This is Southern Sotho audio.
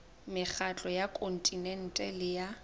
mekgatlo ya kontinente le ya